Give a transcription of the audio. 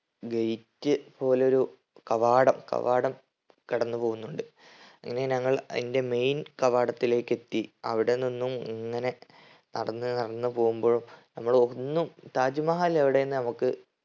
gate പോലൊരു കവാടം കവാടം കടന്ന് പോകുന്നുണ്ട് അങ്ങനെ ഞങ്ങൾ അതിന്റെ main കവാടത്തിലേക്ക് എത്തി അവിടെ നിന്നും ങ്ങനെ നടന്ന് നടന്ന് പോവുമ്പോഴും നമ്മളൊന്നും താജ് മഹൽ എവിടേന്ന് നമുക്ക്